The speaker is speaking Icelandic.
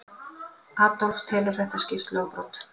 Adolf telur þetta skýrt lögbrot.